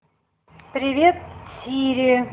привет сири